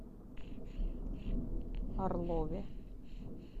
орлове